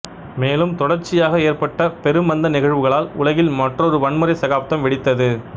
மேலும் தொடர்ச்சியாக ஏற்பட்ட பெருமந்த நிகழ்வுகளால் உலகில் மற்றொரு வன்முறை சகாப்தம் வெடித்தது